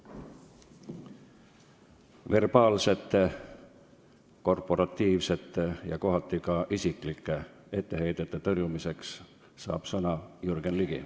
Verbaalsete, korporatiivsete ja kohati ka isiklike etteheidete tõrjumiseks saab sõna Jürgen Ligi.